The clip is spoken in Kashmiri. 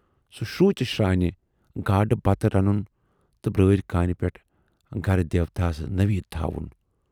سُہ شروٗژِ شرانہِ گاڈٕ بَتہٕ رنُن تہٕ برٲرۍ کانہِ پٮ۪ٹھ گَرٕ دیٖوتاہَس نٔویٖد تھاوُن۔